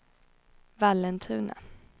Vallentuna